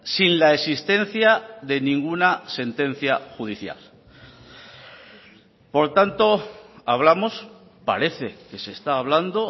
sin la existencia de ninguna sentencia judicial por tanto hablamos parece que se está hablando